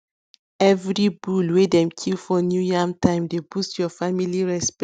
everi bull wey dem kill for new yam time dey boost your family respect